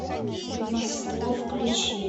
ведьмовство включи